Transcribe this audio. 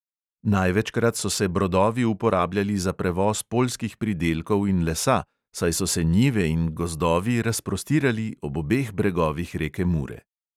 Največkrat so se brodovi uporabljali za prevoz poljskih pridelkov in lesa, saj so se njive in gozdovi razprostirali ob obeh bregovih reke mure.